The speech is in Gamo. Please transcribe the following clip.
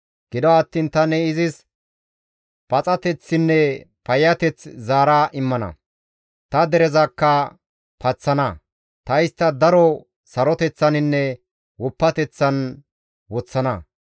«Gido attiin tani izis paxateththinne payyateth zaara immana; ta derezakka paththana; ta istta daro saroteththaninne woppateththan woththana.